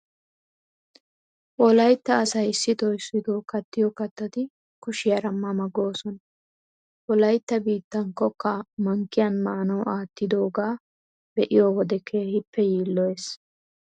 Wolaytta asay issitoo issitoo kattiyo kattati kushiyara ma ma goosona. Wolaytta biittan kokkaa mankkiyan maanawu aattidoogaa be'iyo wode keehippe yiilloyees.